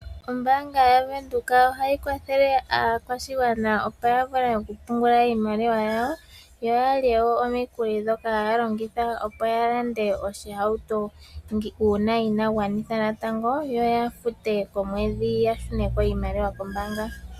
Ombaanga yaVenduka ohayi kwathele aakwashigwana opo ya vule oku pungula iimaliwa yawo, yo yalye wo omikuli ndhoka haya longitha opo ya lande oshihauto uuna ina gwanitha natango. Yo ya fute komwedhi ya shune ko iimaliwa kombaanga.